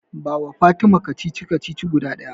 Bawa Fatima kacici-kacici guda ɗaya.